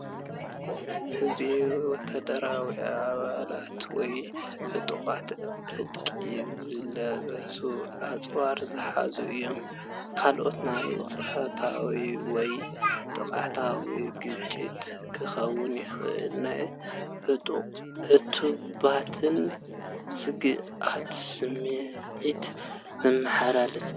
ህዝቢ ወተሃደራዊ ኣባላት ወይ ዕጡቓት ዕጥቂ ዝለበሱን ኣጽዋር ዝሓዙን እዮም። ኣካል ናይ ጸጥታ ወይ ዕጥቃዊ ግጭት ክኸውን ይኽእልን ናይ ዕቱብነትን ስግኣትን ስምዒት ዘመሓላልፍ እዩ።